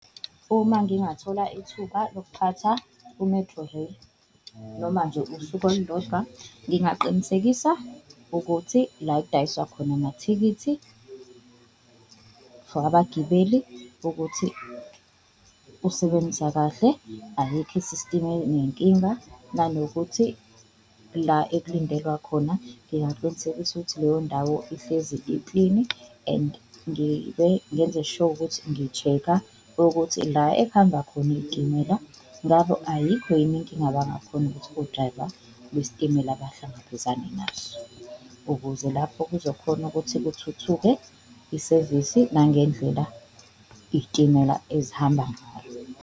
Uma ngingathola ithuba lokuphatha u-Metrorail noma nje usuku olulodwa ngingaqinisekisa ukuthi la ekudayiswa khona amathikithi for abagibeli ukuthi usebenzisa kahle, ayikho i-system nenkinga. Nanokuthi la ekulindelwa khona ngingaqinisekisa ukuthi leyo ndawo ihlezi iklini, and ngenze sho ukuthi ngi-check-a ukuthi la ehamba khona iyitimela ngabo ayikho yini inkinga abangakhona ukuthi odrayiva besitimela bahlangabezane nazo. Ukuze lapho kuzokhona ukuthi kuthuthuke isevisi nangendlela iyitimela ezihamba ngayo.